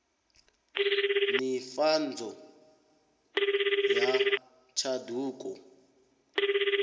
nivhadzo ya tshanduko